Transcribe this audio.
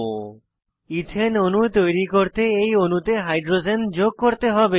এথানে ethane অণু তৈরি করতে এই অণুতে হাইড্রোজেন যোগ করতে হবে